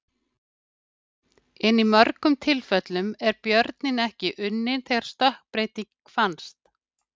En í mörgum tilfellum er björninn ekki unninn þegar stökkbreyting finnst.